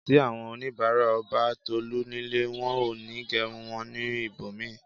Tí àwọn onibara ó bá bà Tolu nílé, wón òní gerun wón ní ibòmíì